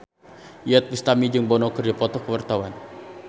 Iyeth Bustami jeung Bono keur dipoto ku wartawan